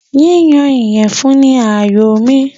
Yíyan ìyẹ̀fun ni àyòo mi.